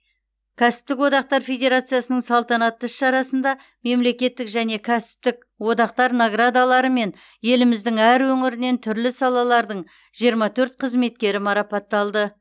кәсіптік одақтар федерациясының салтанатты іс шарасында мемлекеттік және кәсіптік одақтар наградаларымен еліміздің әр өңірінен түрлі салалардың жиырма төрт қызметкері марапатталды